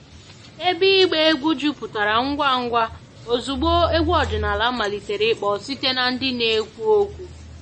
Ebe ịgba egwu jupụtara ngwa ngwa ozugbo egwu ọdịnala malitere ịkpọ site na ndị na-ekwu okwu